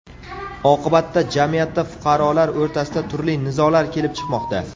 Oqibatda jamiyatda fuqarolar o‘rtasida turli nizolar kelib chiqmoqda.